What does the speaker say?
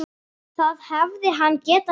Það hefði hann getað svarið.